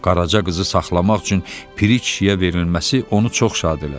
Qaraca qızı saxlamaq üçün Piri kişiyə verilməsi onu çox şad elədi.